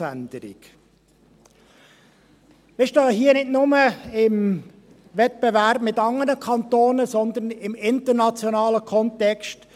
Wir stehen hier nicht nur im Wettbewerb mit anderen Kantonen, sondern im internationalen Kontext.